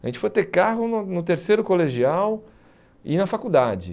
A gente foi ter carro no no terceiro colegial e na faculdade.